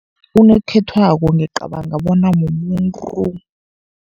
Unokhethwako ngiyacabanga bona mumuntu.